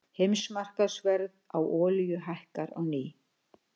Heimsmarkaðsverð á olíu hækkar á ný